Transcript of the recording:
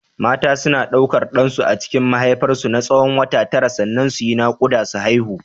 Mata suna ɗaukar ɗansu a cikin mahaifar su na tsawon wata tara sannan su yi ta naƙuda su haihu.